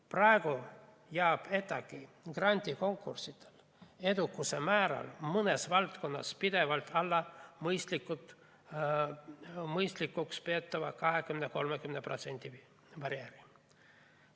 Praegu jääb ETAg‑i grandikonkurssidel edukuse määr mõnes valdkonnas pidevalt alla mõistlikuks peetava 20–30% barjääri.